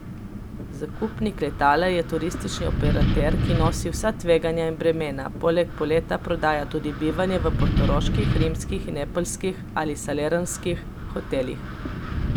Zakupnik letala je turistični operater, ki nosi vsa tveganja in bremena, poleg poleta prodaja tudi bivanje v portoroških, rimskih in neapeljskih ali salernskih hotelih.